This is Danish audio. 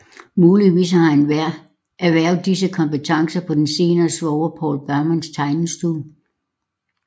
Muligvis har han erhvervet disse kompetencer på den senere svoger Povl Baumanns tegnestue